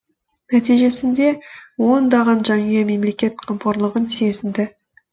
нәтижесінде ондаған жанұя мемлекет қамқорлығын сезінді